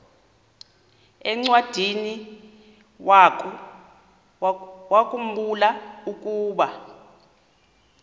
encwadiniwakhu mbula ukuba